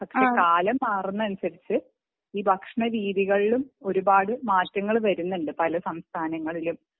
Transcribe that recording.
പക്ഷെ കാലം മാറുന്നതിനനുസരിച്ചു ഈ ഭക്ഷണ രീതികളിലും ഒരുപാട് മാറ്റങ്ങൾ വരുന്നുണ്ട് പല സംസ്ഥാനങ്ങളിലും